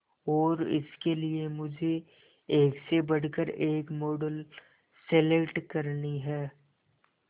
और इसके लिए मुझे एक से बढ़कर एक मॉडल सेलेक्ट करनी है